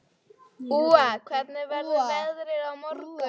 Úa, hvernig verður veðrið á morgun?